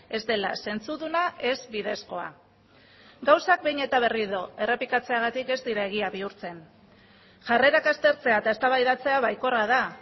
ez dela zentzuduna ez bidezkoa gauzak behin eta berriro errepikatzeagatik ez dira egia bihurtzen jarrerak aztertzea eta eztabaidatzea baikorra da